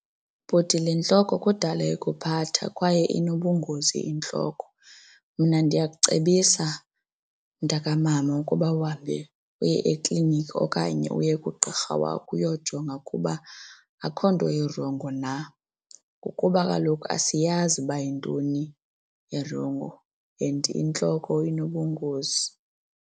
Bhuti, le ntloko kudala ikuphatha kwaye inobungozi intloko. Mna ndiyakucebisa, mntakamama, ukuba uhambe uye ekliniki okanye uye kugqirha wakho uyojonga ukuba akukho nto irongo na ngokuba kaloku asiyazi uba yintoni erongo and intloko inobungozi.